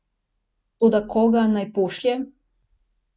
Toda koga naj pošlje?